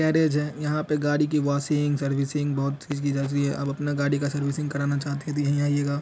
garage है यहां पर गाड़ी की वॉशिंग सर्विसिंग बहुत चीज की जाती है आप अपना गाड़ी का सर्विसिंग करवाना चाहते तो यही आइएगा---